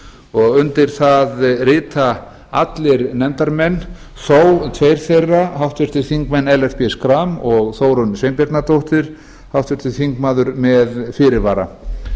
og undir það rita allir nefndarmenn þó tveir þeirra þeir háttvirtir þingmenn ellert b schram og þórunn sveinbjarnardóttir háttvirtur þingmaður með fyrirvara